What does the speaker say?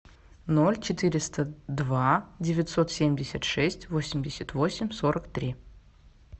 ноль четыреста два девятьсот семьдесят шесть восемьдесят восемь сорок три